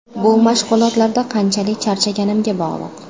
Bu mashg‘ulotlarda qanchalik charchaganimga bog‘liq.